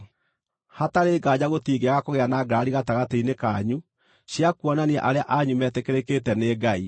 Hatarĩ nganja gũtingĩaga kũgĩa na ngarari gatagatĩ-inĩ kanyu cia kuonania arĩa anyu metĩkĩrĩkĩte nĩ Ngai.